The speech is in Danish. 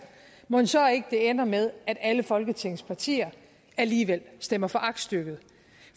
mon så ikke det ender med at alle folketingets partier alligevel stemmer for aktstykket